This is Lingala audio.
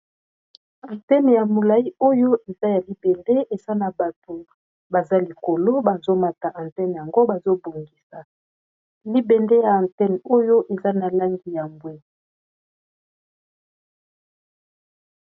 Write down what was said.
Antene ya molai oyo eza ya libende esa na bato baza likolo bazomata anthene yango bazobongisa libende ya anthene oyo eza na langi ya mbwe.